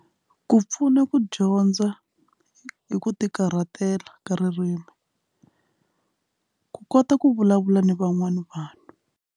Ku pfuna ku dyondza hi ku tikarhatela ka ririmi ku kota ku vulavula ni van'wana vanhu.